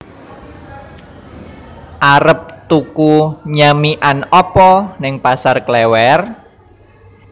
Arep tuku nyamikan opo ning Pasar Klewer?